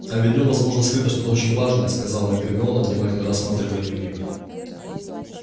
а ведь в нём возможно скрыто что-то очень важное сказала гермиона внимательно рассматривая дневник